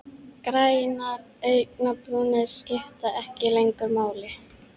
Grænar augnabrúnir skipta ekki lengur máli.